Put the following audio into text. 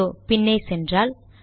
இதோ பின்னே சென்றால்